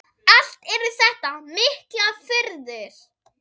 Allt eru þetta miklar furður.